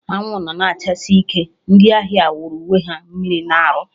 Anwụ nọ na-achasi ike, ndị ahịa wụrụ onwe ha mmiri na-arụ